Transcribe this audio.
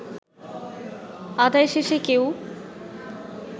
আদায় শেষে কেউ